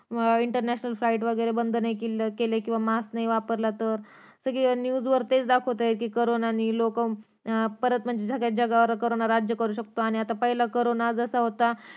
international flight वगैरे बंद नाही केली किंवा मास्क नाही वापरला तर सगळ्या news वर तेच दाखवतायेत कि करोना नि लोकं म्हणजे परत सगळ्या जगावर करोना राज्य करू शकतो आणि पहिला करोना जसा होता